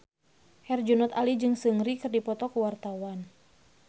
Herjunot Ali jeung Seungri keur dipoto ku wartawan